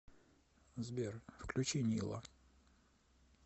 сбер включи нила